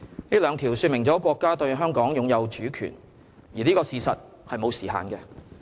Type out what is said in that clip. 這兩條說明了國家對香港擁有主權，而這個事實是沒有時限的。